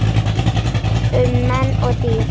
Um menn og dýr